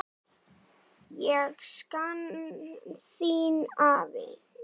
Ég sakna þín, afi.